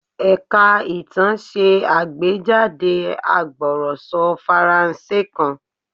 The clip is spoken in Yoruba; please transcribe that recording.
Ẹ̀ka ìtàn ṣe àgbéjáde agbọ̀rọ̀sọ Faransé kan.